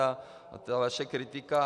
A ta vaše kritika.